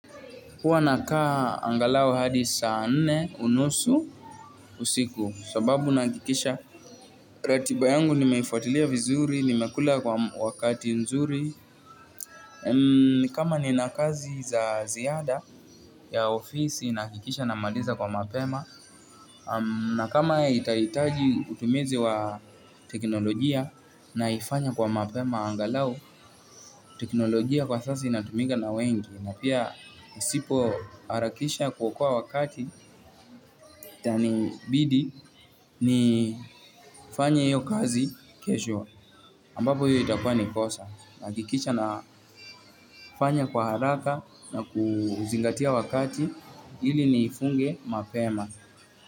Huwa nakaa angalau hadi saa nne unusu usiku kwa sababu nahakikisha ratiba yangu nimeifuatilia vizuri, nimekula kwa wakati nzuri kama ninakazi za ziada ya ofisi nahakikisha namaliza kwa mapema na kama itahitaji utumizi wa teknolojia naifanya kwa mapema angalau teknolojia kwa sasa inatumika na wengi na pia uisipoharakisha kuokoa wakati itanibidi niifanye hiyo kazi kesho ambapo hiyo itakwa nikosa nahakikisha na fanya kwa haraka na kuzingatia wakati ili nifunge mapema.